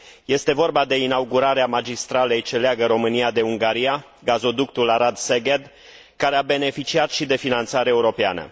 Este vorba de inaugurarea magistralei ce leagă România de Ungaria, gazoductul Arad Szeged, care a beneficiat și de finanțare europeană.